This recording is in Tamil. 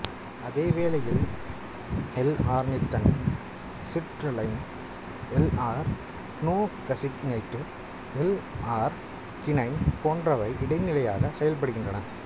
அதேவேளையில் எல்ஆர்னித்தைன் சிட்ருலைன் எல்ஆர்கினோசக்சினேட்டு எல்ஆர்கினைன் போன்றவை இடைநிலையாகச் செயல்படுகின்றன